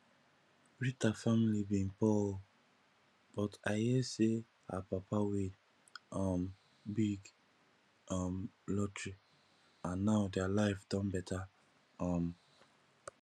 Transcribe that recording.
rita family bin poor oo but i hear say her papa win um big um lottery and now dia life don better um